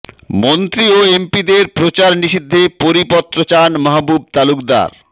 মন্ত্রী ও এমপিদের প্রচার নিষিদ্ধে পরিপত্র চান মাহবুব তালুকদার